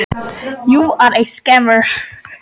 Fjölskyldusaga skiptir einnig miklu máli.